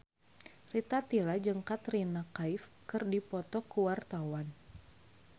Rita Tila jeung Katrina Kaif keur dipoto ku wartawan